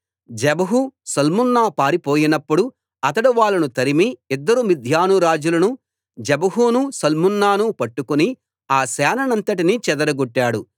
జెబహు Zalmunna పారిపోయినప్పుడు అతడు వాళ్ళను తరిమి ఇద్దరు మిద్యాను రాజులు జెబహును సల్మున్నాను పట్టుకుని ఆ సేనంతటిని చెదరగొట్టాడు